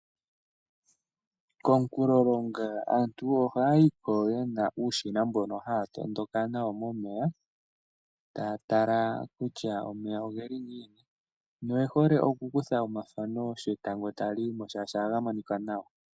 Komunkulolonga aantu ohaya yi ko ye na iiyenditho mbyoka haya tondoka nayo momeya taya tala kutya omeya oge li ngiini noye hole okukutha omathano sho etango tali yi mo, oshoka ohaga monika nawa.